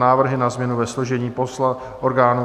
Návrh na změny ve složení orgánů